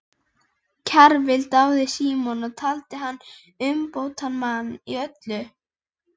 Kjarval dáði Símon og taldi hann umbótamann í öllu.